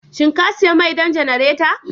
shin ka sayi mai don janareta?